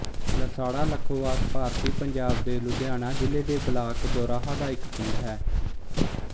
ਲਸਾੜਾ ਲਖੋਵਾਸ ਭਾਰਤੀ ਪੰਜਾਬ ਦੇ ਲੁਧਿਆਣਾ ਜ਼ਿਲ੍ਹੇ ਦੇ ਬਲਾਕ ਦੋਰਾਹਾ ਦਾ ਇੱਕ ਪਿੰਡ ਹੈ